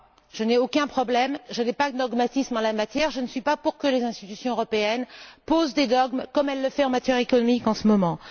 Je n'ai aucun problème, je n'ai pas de dogmatisme en la matière et je ne suis pas pour que les institutions européennes posent des dogmes, comme elles le font dans le domaine économique en ce moment.